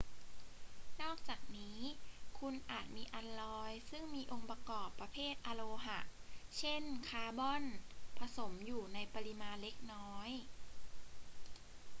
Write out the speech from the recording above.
นอกจากนี้ คุณอาจมีอัลลอยซึ่งมีองค์ประกอบประเภทอโลหะ เช่น คาร์บอน ผสมอยู่ในปริมาณเล็กน้อย